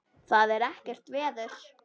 Það er ekkert veður.